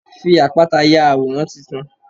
Fi àpáta ya àwòrán titun.